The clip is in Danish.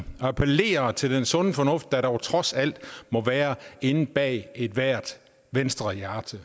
at appellere til den sunde fornuft der trods alt må være inde bag ved ethvert venstrehjerte